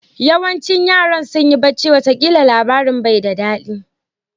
Yawancin yaran sunyi bacci wata kila labarin bai da dadi.